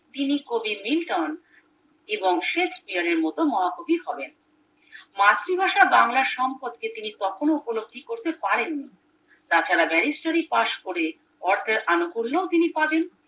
তিনি কবি বিংটন এবং শেক্সপিয়ারের মতো মহাকবি হবেন মাতৃভাষা বাংলার সম্পদ তিনি কখনো উপলব্ধি করতে পারেন নি তাছাড়া ব্যারিস্টারি পাস করে অর্থের আনুকূল্য ও তিনি পাবেন